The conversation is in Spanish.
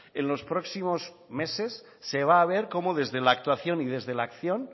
en los próximos meses se va a ver cómo desde la actuación y desde la acción